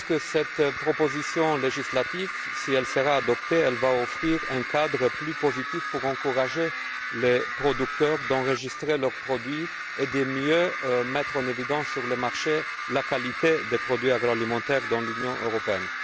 Je pense que cette proposition législative, si elle est adoptée, créera un cadre plus positif pour encourager les producteurs à enregistrer leurs produits et pour mieux mettre en évidence sur le marché la qualité des produits agroalimentaires dans l'Union européenne.